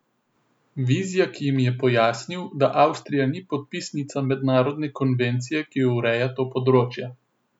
Vizjak jim je pojasnil, da Avstrija ni podpisnica mednarodne konvencije, ki ureja to področje.